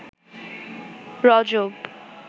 রজব